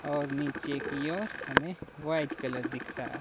और नीचे की ओर हमें व्हाइट कलर दिख रहा--